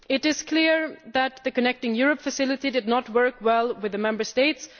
It is clear that the Connecting Europe Facility did not work well with the Member States.